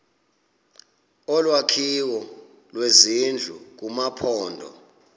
olwakhiwo lwezindlu kumaphondo